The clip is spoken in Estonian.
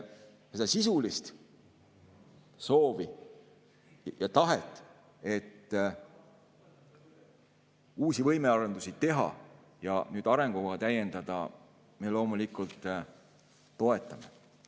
Seda sisulist soovi ja tahet, et uusi võimearendusi teha ja nüüd arengukava täiendada, me loomulikult toetame.